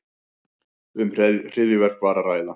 Um hryðjuverk var að ræða